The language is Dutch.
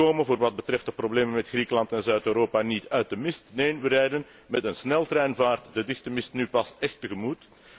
We komen voor wat betreft de problemen met Griekenland en Zuid Europa niet uit de mist, neen, we rijden met een sneltreinvaart de dichte mist nu pas écht tegemoet.